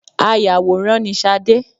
Ayàwòrán ni Sadé